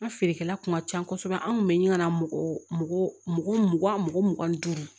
An ka feerekɛla kun ka ca kosɛbɛ an kun bɛ ɲina mɔgɔ mugan mɔgɔ mugan ni duuru